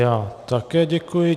Já také děkuji.